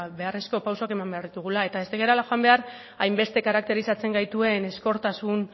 beharrezko pausuak eman behar ditugula eta ez garela joan behar hainbeste karakterizatzen gaituen ezkortasun